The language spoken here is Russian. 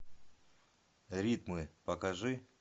ритмы покажи